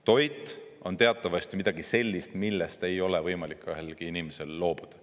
Toit on teatavasti midagi sellist, millest ei ole võimalik ühelgi inimesel loobuda.